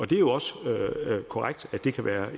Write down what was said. det er jo også korrekt at det kan være